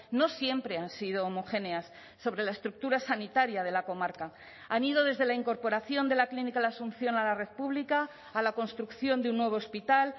no siempre han sido homogéneas sobre la estructura sanitaria de la comarca han ido desde la incorporación de la clínica la asunción a la red pública a la construcción de un nuevo hospital